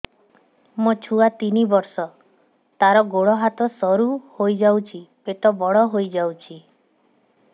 ମୋ ଛୁଆ ତିନି ବର୍ଷ ତାର ଗୋଡ ହାତ ସରୁ ହୋଇଯାଉଛି ପେଟ ବଡ ହୋଇ ଯାଉଛି